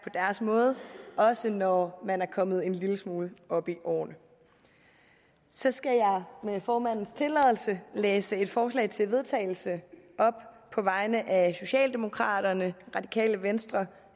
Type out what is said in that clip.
sin måde også når man er kommet en lille smule op i årene så skal jeg med formandens tilladelse læse et forslag til vedtagelse op på vegne af socialdemokraterne radikale venstre